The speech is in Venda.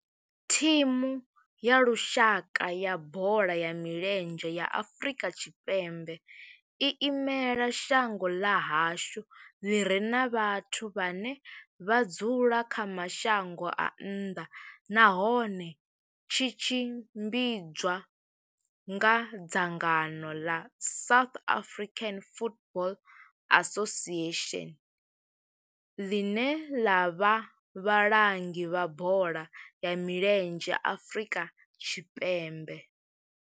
Thimu ya lushaka ya bola ya milenzhe ya Afrika Tshipembe i imela shango ḽa hashu ḽi re na vhathu vhane vha dzula kha mashango a nnḓa nahone tshi tshimbidzwa nga dzangano ḽa South African Football Association, ḽine ḽa vha vhalangi vha bola ya milenzhe Afrika Tshipembe.